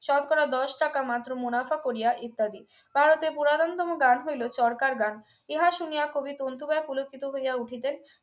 শতকরা দশ টাকা মাত্র মুনাফা করিয়া ইত্যাদি ভারতের পুরাতন তম গ্রাম হইলো চরকার গ্রাম ইহা শুনিয়া কবি তন্তু বাই পুলকিত হইয়া উঠিতেন